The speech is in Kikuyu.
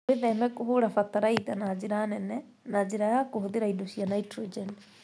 Wĩtheme kũhũũra fatalaitha na njĩra nene na njĩra ya kũhũthĩra indo cia nitrogen.